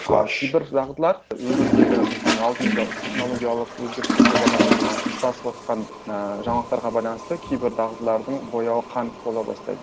ал кейбір дағдылар өмірдегі біздің алдымызда технологиялық өзгерістерге байланысты ма ұшырасып отырған ыыы жаңалықтарға байланысты кейбір дағдылардың бояуы қанық бола бастайды